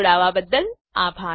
જોડાવા બદ્દલ આભાર